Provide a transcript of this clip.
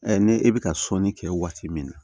ne e bɛ ka sɔnni kɛ waati min na